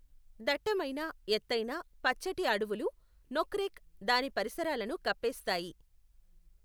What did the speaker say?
దట్టమైన, ఎత్తైన, పచ్చటి అడవులు నోక్రెక్, దాని పరిసరాలను కప్పేస్తాయి.